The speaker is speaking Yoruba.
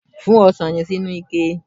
Fún osàn yen sí inú ike